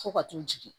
Fo ka t'u jigin